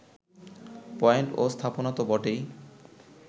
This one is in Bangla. পয়েন্ট ও স্থাপনা তো বটেই